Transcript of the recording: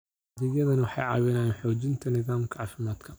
Adeegyadani waxay caawiyaan xoojinta nidaamka caafimaadka.